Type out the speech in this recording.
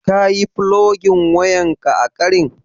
Ka yi fulogin wayan ƙa a ƙarin?